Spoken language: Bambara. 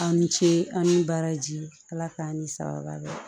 Aw ni ce aw ni baraji ala k'an ni sababa bɛn